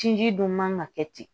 Sinji dun man ka kɛ ten